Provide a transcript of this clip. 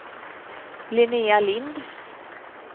Linnéa Lindh